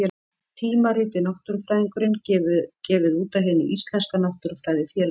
Tímaritið Náttúrufræðingurinn, gefið út af Hinu íslenska náttúrufræðifélagi.